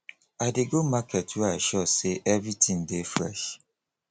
i dey go market where i sure sey everytin dey fresh